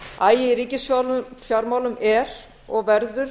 agi í ríkisfjármálum er og verður